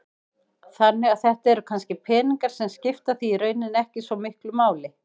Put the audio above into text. Þannig að þetta eru kannski peningar sem skipta þig í rauninni ekki svo miklu máli?